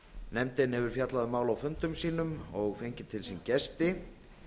nefndin hefur fjallað um málið á fundum sínum og fengið til sín gesti